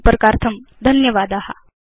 संपर्कार्थं धन्यवादा